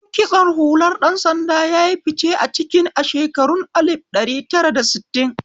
Salon kitsho hular ɗan sanda yayi fice a cikin a shekarun alif ɗari tara da sittin